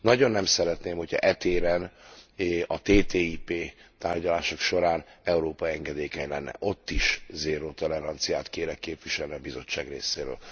Nagyon nem szeretném, hogyha e téren a TTIP tárgyalások során Európa engedékeny lenne. Ott is zéró toleranciát kérek képviselni a Bizottság részéről.